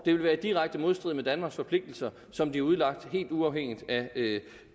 vil være direkte i modstrid med danmarks forpligtelser som de er udlagt helt uafhængigt af